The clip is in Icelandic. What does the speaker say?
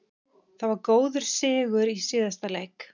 Það var góður sigur í síðasta leik.